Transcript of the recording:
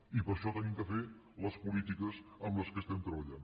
i per això hem de fer les polítiques en què estem treballant